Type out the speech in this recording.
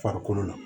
Farikolo la